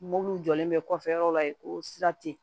Mɔbili jɔlen bɛ kɔfɛ yɔrɔ la yen ko sira tɛ